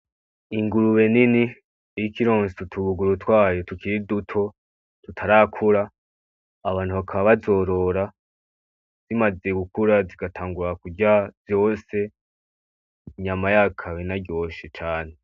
Ingurube nini iriko ironsa utubuguru twayo tukiri duto tutarakura, abantu bakaba bazorora zimaze gukura zigatangura kurya vyose. Inyama yayo ikaba inaryoshe cane.